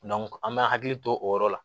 an bɛ hakili to o yɔrɔ la